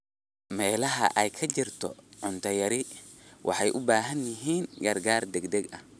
Meelaha ay ka jirto cunto yari waxay u baahan yihiin gargaar degdeg ah.